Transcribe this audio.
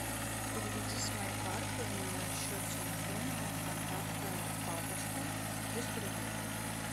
переведи с моей карты на счет телефона контакта папочка триста рублей